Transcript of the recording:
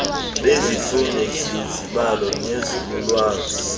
bezifundo zezibalo nenzululwazi